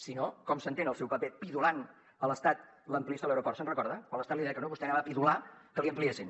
si no com s’entén el seu paper pidolant a l’estat l’ampliació de l’aeroport se’n recorda quan l’estat li deia que no vostè anava a pidolar que li ampliessin